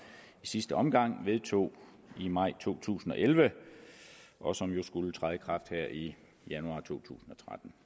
i sidste omgang vedtog i maj to tusind og elleve og som jo skulle træde i kraft her i januar to tusind